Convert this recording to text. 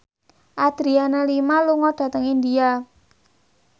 Adriana Lima lunga dhateng India